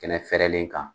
Kɛnɛ fɛrɛlen kan